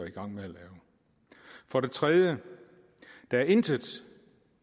i gang med for det tredje er der intet